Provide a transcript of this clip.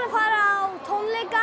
að fara á tónleika